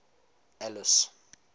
alice